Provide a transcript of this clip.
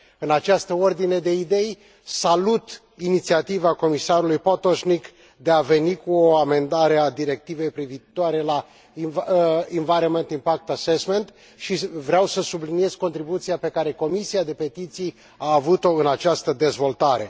În această ordine de idei, salut inițiativa comisarului Potočnik de a veni cu o amendare a Directivei privitoare la environment impact assessment și vreau să subliniez contribuția pe care Comisia pentru petiții a avut o în această dezvoltare.